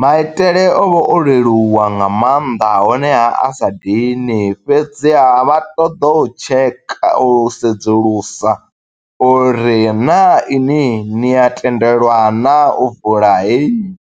Maitele o vha o leluwa nga maanḓa honeha a sa dini, fhedziha vha ṱoḓo u tsheka, u sedzulusa, uri naa ini ni ya tendelwa naa, u vula heyi